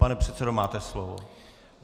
Pane předsedo, máte slovo.